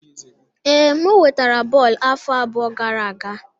Ee, m wetara bọọlụ afọ abụọ gara aga